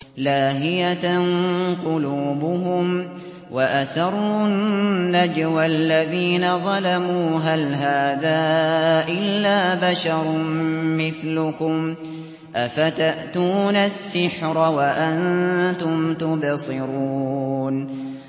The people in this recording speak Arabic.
لَاهِيَةً قُلُوبُهُمْ ۗ وَأَسَرُّوا النَّجْوَى الَّذِينَ ظَلَمُوا هَلْ هَٰذَا إِلَّا بَشَرٌ مِّثْلُكُمْ ۖ أَفَتَأْتُونَ السِّحْرَ وَأَنتُمْ تُبْصِرُونَ